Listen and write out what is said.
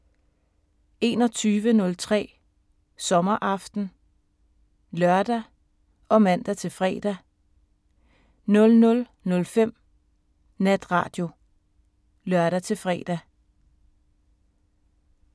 21:03: Sommeraften (lør og man-fre) 00:05: Natradio (lør-fre)